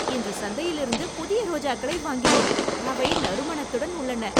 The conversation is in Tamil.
இன்று சந்தையிலிருந்து புதிய ரோஜாக்களை வாங்கினேன். அவை நறுமணத்துடன் உள்ளன.